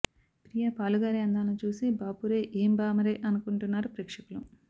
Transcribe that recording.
ప్రియా పాలుగారే అందాలను చూసి బాపురే ఏం భామరే అనుకుంటున్నారు ప్రేక్షకులు